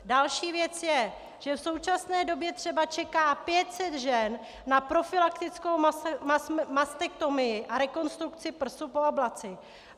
Další věc je, že v současné době třeba čeká 500 žen na profylaktickou mastektomii a rekonstrukci prsu po ablaci.